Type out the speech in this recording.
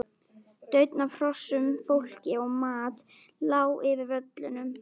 Daunn af hrossum, fólki og mat lá yfir völlunum.